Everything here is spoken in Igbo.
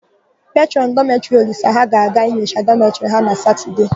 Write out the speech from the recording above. Petrọn dọmetịrị Olisa ha ga-aga inyocha dọmetịrị ha na Satọdee.